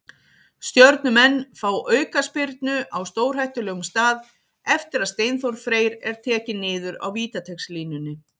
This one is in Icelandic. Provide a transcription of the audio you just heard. Stjörnumenn fá aukaspyrnu á stórhættulegum stað eftir að Steinþór Freyr er tekinn niður á vítateigslínunni.